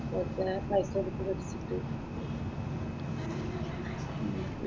വെറുതെ പൈസ കൊടുത്ത പഠിച്ചിട്ട് ഉം